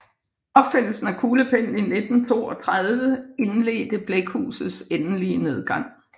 Opfindelsen af kuglepennen i 1932 indledte blækhusets endelige nedgang